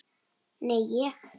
Nei, ég.